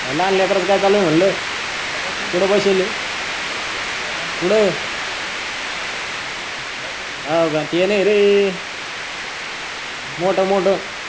त्या लहान लेकरच की चालू आहे म्हटल. आर बसिवल म्हंटल. कुठ बसील. पोटामद्धी. कुठ. बसविल. हाव की ते नही रे. मोठ मोठ